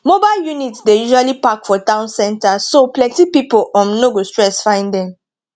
mobile units dey usually park for town center so plenty pipo um no go stress find them